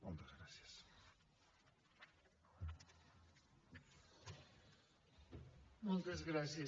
moltes gràcies